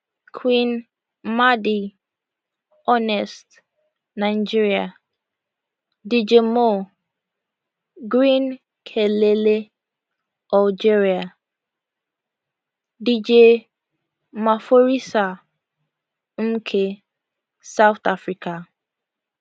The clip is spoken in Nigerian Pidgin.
qing madi honest nigeria dj moh green kelele algeria dj maphorisa mnike south africa